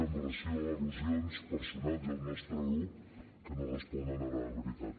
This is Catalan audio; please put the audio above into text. amb relació a al·lusions personals i al nostre grup que no responen a la veritat